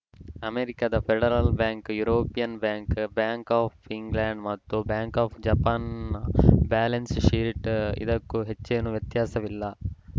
ಅಮೆರಿಕದ federal bank European bank bank of England ಮತ್ತು bank of ಜಪಾನ್‌ನ ಬ್ಯಾಲೆನ್ಸ್‌ ಶೀಟ್‌ಗೂ ಇದಕ್ಕೂ ಹೆಚ್ಚೇನೂ ವ್ಯತ್ಯಾಸವಿಲ್ಲ